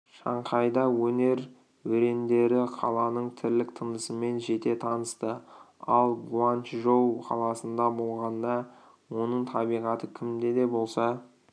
шанхайда өнер өрендері қаланың тірлік-тынысымен жете танысты ал гуанчжоу қаласында болғанда оның табиғаты кімді де болса